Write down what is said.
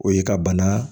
O ye ka bana